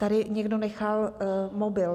Tady někdo nechal mobil.